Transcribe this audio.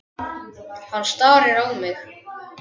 Hann starir á mig.